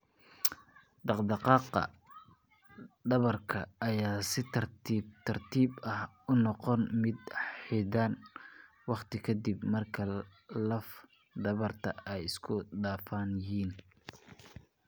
Dhaqdhaqaaqa dhabarka ayaa si tartiib tartiib ah u noqda mid xaddidan waqti ka dib marka laf dhabarta ay isku dhafan yihiin.